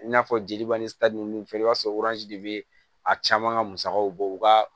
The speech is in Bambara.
I n'a fɔ jeliba ni sari nun filɛ i b'a sɔrɔ de bɛ a caman ka musakaw bɔ u ka